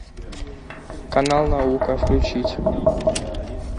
канал наука включить